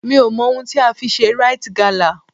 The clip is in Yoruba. Mi ò mọ ohun tí a fi ṣe Rite gala.